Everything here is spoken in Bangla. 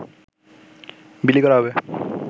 বিলি করা হবে